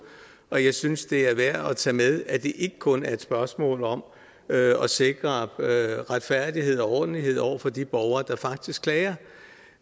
og jeg synes det er værd at tage med at det ikke kun er et spørgsmål om at at sikre retfærdighed og ordentlighed over for de borgere der faktisk klager